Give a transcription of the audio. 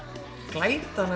glætan